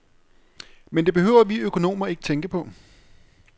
Men det behøver vi økonomer ikke tænke på.